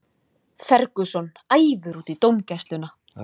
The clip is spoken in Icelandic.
Ferguson æfur út í dómgæsluna